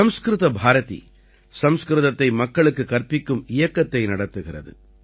சம்ஸ்கிருத பாரதி சம்ஸ்கிருதத்தை மக்களுக்குக் கற்பிக்கும் இயக்கத்தை நடத்துகிறது